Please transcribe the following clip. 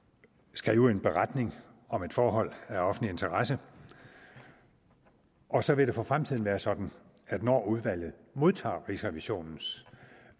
skrive en beretning om et forhold af offentlig interesse og så vil det for fremtiden være sådan at når udvalget modtager rigsrevisionens